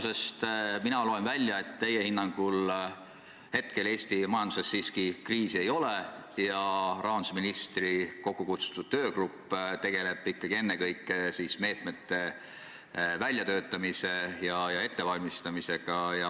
Ma loen teie vastusest välja, et teie hinnangul Eesti majanduses siiski kriisi ei ole ja rahandusministri kokku kutsutud töögrupp tegeleb ennekõike meetmete väljatöötamise ja ettevalmistamisega.